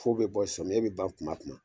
Fo bɛ bɔ sɔmiyɛ bɛ ban kuma o kuma